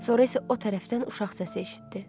Sonra isə o tərəfdən uşaq səsi eşitdi.